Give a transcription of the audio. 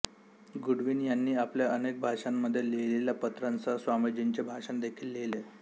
Goodwin यांनी आपल्या अनेक भाषांमध्ये लिहिलेल्या पत्रासह स्वामीजींचे भाषण देखील लिहिले